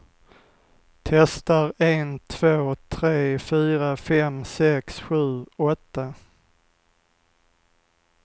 Testar en två tre fyra fem sex sju åtta.